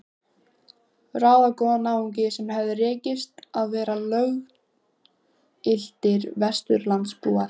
Ráðagóða náunga sem hafði tekist að verða löggiltir Vesturlandabúar.